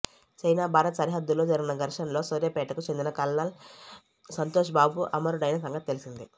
China Bharat సరిహద్దులో జరిగిన ఘర్షణలో సూర్యాపేటకు చెందిన కల్నల్ సంతోష్ బాబు అమరుడైన సంగతి తెలిసిందే